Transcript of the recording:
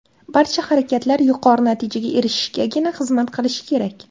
Barcha harakatlar yuqori natijaga erishishgagina xizmat qilishi kerak.